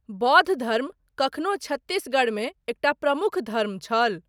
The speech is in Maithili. बौद्ध धर्म कखनो छत्तीसगढ़मे एकटा प्रमुख धर्म छल।